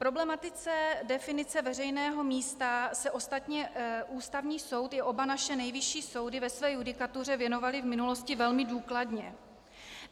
Problematice definice veřejného místa se ostatně Ústavní soud i oba naše nejvyšší soudy ve své judikatuře věnovaly v minulosti velmi důkladně.